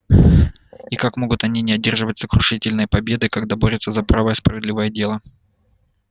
и как могут они не одержать сокрушительной победы когда борются за правое справедливое дело